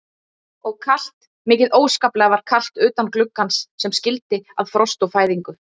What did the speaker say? Og kalt, mikið óskaplega var kalt utan gluggans sem skildi að frost og fæðingu.